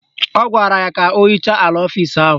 Ọ gwara ya ka o hichaa ala ọfisi ahụ